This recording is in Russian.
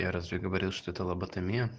я разве говорил что это лоботомия